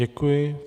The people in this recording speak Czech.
Děkuji.